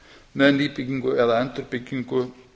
með nýbyggingu eða endurbyggingu